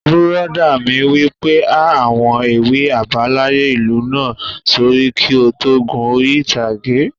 Bùrọ̀dá mi wí pé 'há àwọn ewì àbáláyé ìlú náà sórí kí o tó gun orí ìtàgé